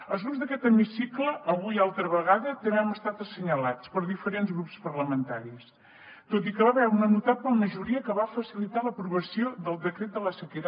els grups d’aquest hemicicle avui altra vegada també hem estat assenyalats per diferents grups parlamentaris tot i que hi va haver una notable majoria que va facilitar l’aprovació del decret de la sequera